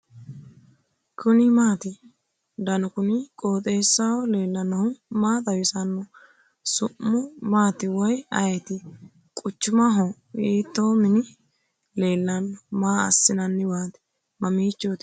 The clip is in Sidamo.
kuni maati ? danu kuni qooxeessaho leellannohu maa xawisanno su'mu maati woy ayeti ? quchumaho ? hiito mini leellanno maa assinanniwaati mamiichootikka ?